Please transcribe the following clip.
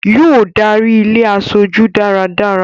Yóò darí ilé e aṣojú dáradára